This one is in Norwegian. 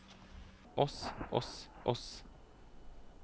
oss oss oss